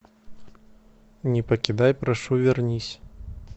не покидай прошу вернись